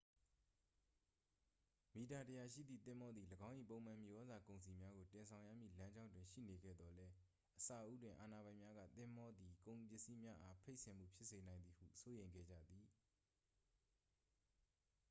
မီတာ 100 ရှိသည့် သင်္ဘောသည် ၎င်း၏ ပုံမှန်မြေဩဇာကုန်စည်များကို တင်ဆောင်ရမည့်လမ်းကြောင်းတွင်ရှိနေခဲ့သော်လည်း အစဦးတွင် အာဏာပိုင်များက သင်္ဘောသည် ကုန်ပစ္စည်းများအား ဖိတ်စင်မှုဖြစ်စေနိုင်သည်ဟု စိုးရိမ်ခဲ့ကြသည်